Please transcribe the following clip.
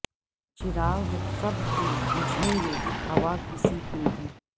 چراغ سب کے بجھیں گے ہوا کسی کی نہیں